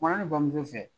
Kumana ne bamuso fɛ